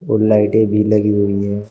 और लाइटें भी लगी हुई हैं।